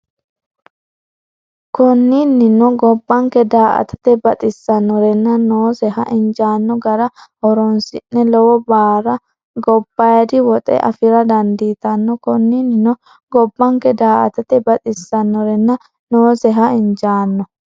Konninnino gobbanke daa’atate baxisanorenna nooseha injaanno gara horoonsidhe lowoh baara gobbaaydi woxe afi’ra dandiitanno Konninnino gobbanke daa’atate baxisanorenna nooseha injaanno.